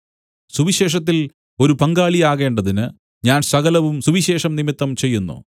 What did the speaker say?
സുവിശേഷത്തിൽ ഒരു പങ്കാളിയാകേണ്ടതിന് ഞാൻ സകലവും സുവിശേഷം നിമിത്തം ചെയ്യുന്നു